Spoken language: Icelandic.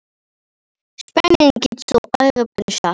Spánn fer á EM.